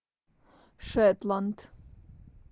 шетланд